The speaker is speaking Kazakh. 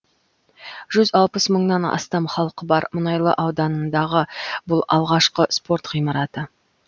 жүз алпыс мыңнан астам халқы бар мұнайлы ауданындағы бұл алғашқы спорт ғимараты